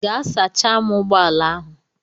Gaa sachaa m ụgbọ ala ahụ.